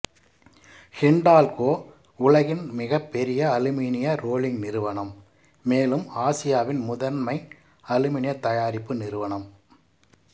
ஹிண்டால்கோ உலகின் மிகப்பெரிய அலுமினிய ரோலிங் நிறுவனம் மேலும் ஆசியாவின் முதன்மை அலுமினிய தயாரிப்பு நிறுவனம்